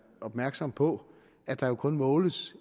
opmærksom på at der jo kun måles